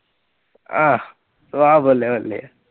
ਆਹ ਸੁਆਹ ਬੱਲੇ ਬੱਲੇ ਆ।